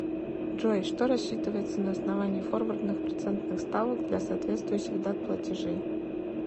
джой что рассчитывается на основании форвардных процентных ставок для соответствующих дат платежей